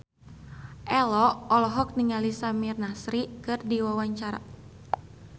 Ello olohok ningali Samir Nasri keur diwawancara